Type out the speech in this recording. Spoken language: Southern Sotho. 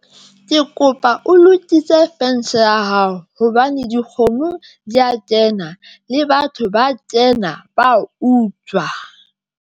Ke kopa o lokise fence ya hao hobane dikgomo di ya kena, le batho ba kena ba a utswa.